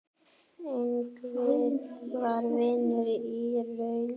Ingvi var vinur í raun.